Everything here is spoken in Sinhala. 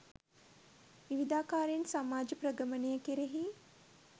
විවිධාකාරයෙන් සමාජ ප්‍රගමනය කෙරෙහි